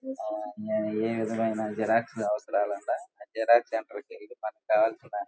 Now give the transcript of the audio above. ఆ ఏ విధమైన జెరాక్స్ అవసరాల ఉండ జెరాక్స్ సెంటర్ కెళ్ళి మనకు కావాల్సిన --